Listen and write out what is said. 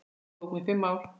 Námið tók mig fimm ár.